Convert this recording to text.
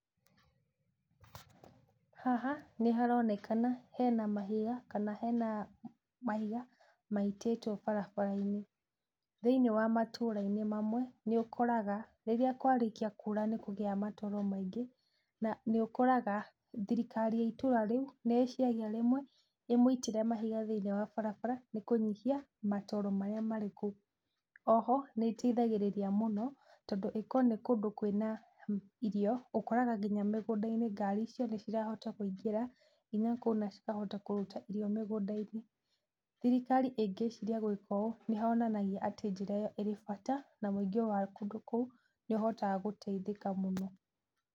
Haha nĩharonekana hena mahiga kana hena mahiga maitĩtwo barabara-inĩ. Thĩiniĩ wa matũra-inĩ mamwe nĩ ũkoraga rĩrĩa kwarĩkia kuura nĩkũgĩaga matooro maingĩ, na nĩũkoraga thirikari ya itũũra rĩu nĩ iciragia rĩmwe ĩmũitĩre mahiga thĩiniĩ wa barabara nĩ kũnyihia matooro marĩa marĩ kũu. Oho nĩĩteithagĩrĩrĩa mũno tondũ ĩkoo nĩ kũndũ kwĩna irio, ũkoraga nginya mĩgũnda-inĩ ngari icio nĩcirahota kũingĩra nginya kũu na cikahota kũruta irio mĩgũnda-inĩ. Thirikari ĩngĩciria gwĩka ũũ, nĩhonanagia atĩ njĩra ĩyo ĩrĩ bata, na mũingĩ wa kũndũ kũu nĩ ũhotaga gũteithĩka mũno.